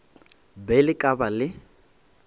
be le ka ba le